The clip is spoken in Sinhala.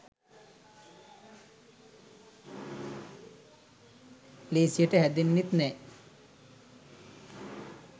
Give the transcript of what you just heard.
ලේසියට හැදෙන්නෙත් නෑ